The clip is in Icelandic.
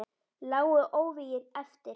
Lágu óvígir eftir.